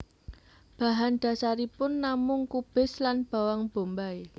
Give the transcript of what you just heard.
Bahan dasaripun namung kubis lan bawang bombay